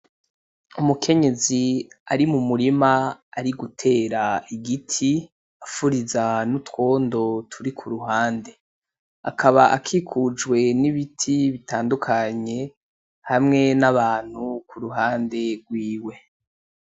Umukenyezi ari mu murima ari gutera igiti afuriza n’utwondo turi ku ruhande. Akaba akikujwe n’ibiti bitandukanye hamwe n’abantu ku ruhande rwiwe.